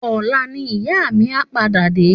Òlá ni ìyá mi á pàdá dé